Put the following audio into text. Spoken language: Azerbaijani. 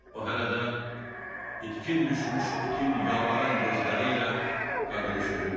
O hələ də itkin düşmüş itin yalvaran gözləri ilə qadını süzürdü.